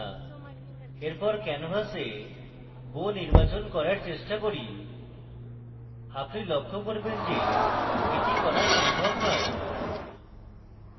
এরপর canvas bow নির্বাচন করার চেষ্টা করি আপনি লক্ষ্য করবেন কে এটি করা সম্ভব you